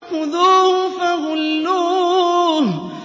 خُذُوهُ فَغُلُّوهُ